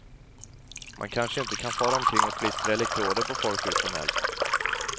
Man kanske inte kan fara omkring och klistra elektroder på folk hur som helst.